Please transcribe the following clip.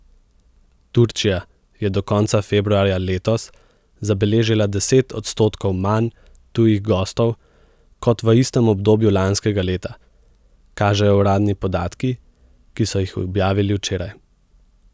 Turčija je do konca februarja letos zabeležila deset odstotkov manj tujih gostov kot v istem obdobju lanskega leta, kažejo uradni podatki, ki so jih objavili včeraj.